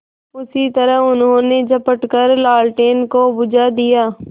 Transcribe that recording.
उसी तरह उन्होंने झपट कर लालटेन को बुझा दिया